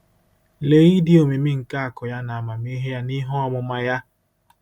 “Lee ịdị omimi nke akụ̀ ya na amamihe ya na ihe ọmụma ya!